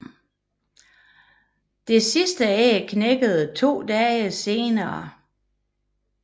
Det sidste æg klækker to dage senere